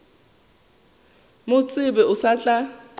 mo tsebe o sa tla